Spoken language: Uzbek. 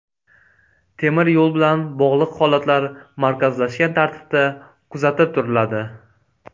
Temir yo‘l bilan bog‘liq holatlar markazlashgan tartibda kuzatib turiladi.